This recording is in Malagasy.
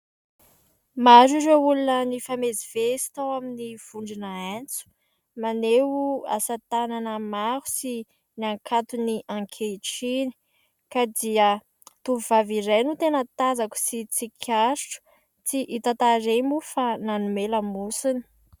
Maro ireo olona nifamezivezy tao amin'ny vondrona haintso maneho, asa tanana maro sy ny hankaton'ny ankehitriny ka dia tovovavy iray no tena tazako sy tsikaritro tsy hita tarehy moa fa nanome lamosiny.